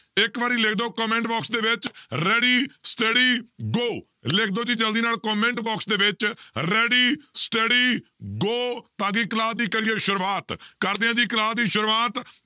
ਇੱਕ ਵਾਰੀ ਲਿਖ ਦਿਓ comment box ਦੇ ਵਿੱਚ ready steady go ਲਿਖ ਦਓ ਜੀ ਜ਼ਲਦੀ ਨਾਲ comment box ਦੇ ਵਿੱਚ ready steady go ਤਾਂ ਕਿ class ਦੀ ਕਰੀਏ ਸ਼ੁਰੂਆਤ ਕਰਦੇ ਹਾਂ ਜੀ class ਦੀ ਸ਼ੁਰੂਆਤ,